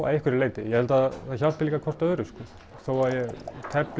að einhverju leyti ég held að það hjálpi líka hvert öðru sko þó að ég tefli